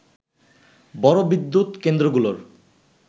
বড় বিদ্যুৎ কেন্দ্রগুলোর